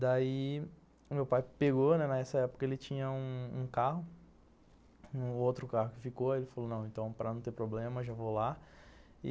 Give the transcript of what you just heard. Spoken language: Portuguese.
Daí, meu pai pegou, nessa época ele tinha um um carro, um outro carro que ficou, ele falou para não ter problema, já vou lá.